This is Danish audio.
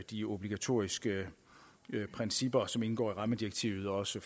de obligatoriske principper som indgår i rammedirektivet også